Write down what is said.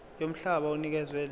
yomhlaba onikezwe lelo